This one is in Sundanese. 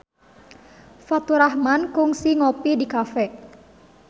Faturrahman kungsi ngopi di cafe